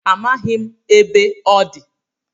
Amaghị m ebe ọ dị